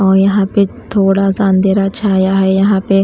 और यहां पे थोड़ा सा अंधेरा छाया है यहां पे --